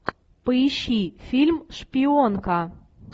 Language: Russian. поищи фильм шпионка